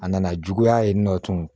A nana juguya yen nɔ tugun